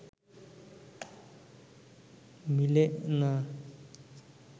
মিলে না